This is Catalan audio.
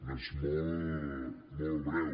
no és molt molt breu